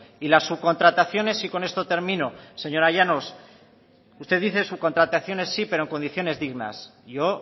y la subcontrataciones y con esto termino señora llanos usted dice subcontrataciones sí pero en condiciones dignas yo